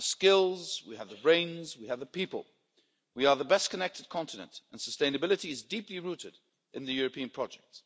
We have the skills, we have the brains, we have the people, we are the best connected continent and sustainability is deeply rooted in the European project.